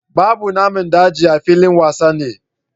Babu Namin daji a filin wasanni